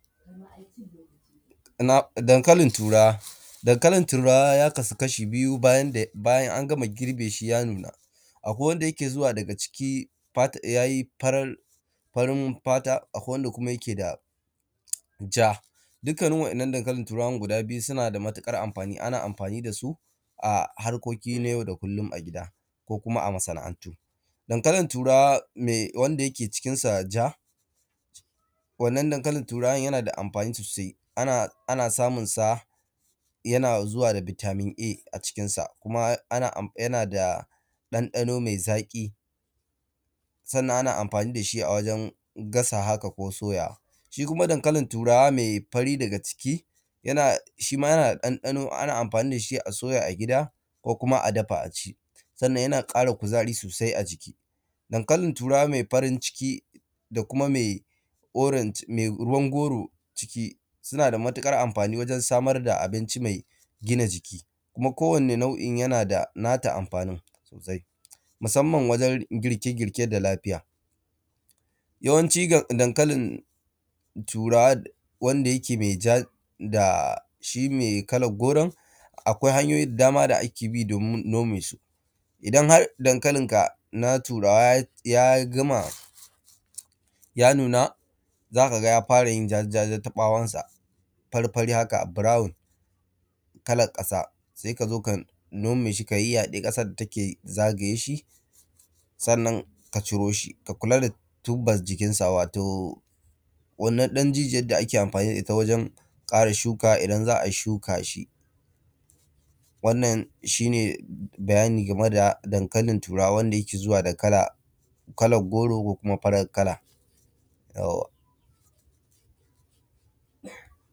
Dankalin turawa. Dankalin turawa ya kasu kasha biyu bayan angama girbeshi ya nuna. Akwai wanda yake zuwa daga ciki yayi farin fata akwai kuma wanda yake da ja, dukkan wa’yan’nan dankalin turawan guda biyu sunada matuƙar amfani ana amfani dasu a harkoki na yau da kullum a gida ko kuma a masa’antu. Dankalin wanda yake jikinsa ja wannan dankalin turawan yanada amfani sosai ana yana zuwa da Vitamin A cikin sa yanda ɗan ɗano mai zaƙi, sannan ana amfani dashi a wajen gasawa haka ko soyawa. Shikuma dankalim turawa mai fari daga ciki, shima yanada ɗan ɗano ana amfani dashi a soya a gida ko kuma a dafa aci. Sannan yana ƙara kuzari sosai a jiki. Dankalin turawa mai farin ciki da kuma mai ruwan goro, sunada matuƙar amfani wajen samarda abinci mai gina jiki kuma ko wani nau’in yanada nata amfanin sosai masamman wajen girke girke da lafiya. yawanci dankalin turawa wanda yake mai ja da kuma mai kalan koren akwai hanyoyi da dama da akebi domin nome su. Idan har dankalinka na turawa ya gama zakaga yarayin jaja jaja ta ɓawonsa fari haka burawun kalar ƙasa sai kazo ka nomeshi ka yayyaɗe, ƙasar dake zagayeshi sannan ka ciroshi ka kulada duba jikinshi wato wannan ɗan jijiyan da ake amfani da itta wajen kare shuka idan za’ai shuka. Wannan shine bayani game da dankalin turawan da yake zuwa da kala, kalan goro ko kuma farar kala